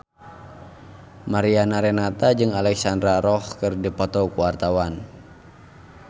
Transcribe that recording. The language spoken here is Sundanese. Mariana Renata jeung Alexandra Roach keur dipoto ku wartawan